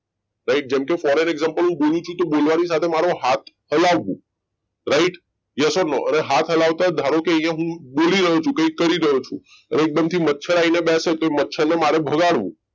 right જેમ કે for an example બોલવાની સાથે હું મારો હાથ હલાવું right yes or no અરે હાથ હલાવતા ધરોકે અહીંયા હું બોલી રહ્યો છું કંઈક કરી રહ્યો છું એકદમ થી મચ્છરાઈ નહિ બેસે તો મચ્છર ને મારે ભગાડવું